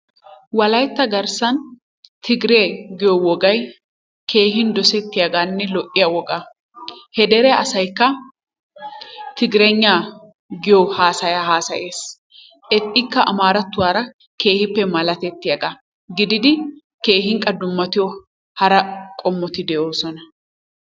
Wolaytta garssan Tigiree giyo wogay keehin dosettiyagaanne lo"iyagaa. He dere asaykka Tigiraygnaa giyo haasayaa haasayees. Etikka amaarattuwara keehippe malatettiyagaa gididi keehin qa dummatiyo hara qommoti de'oosona.